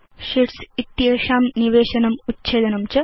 sheets इत्येषां निवेशनम् उच्छेदनं च